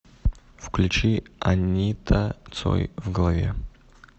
включи анита цой в голове